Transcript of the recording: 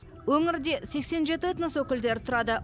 өңірде сексен жеті этнос өкілдері тұрады